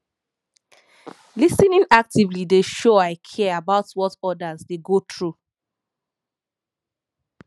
lis ten ing actively dey show i care about what others dey go through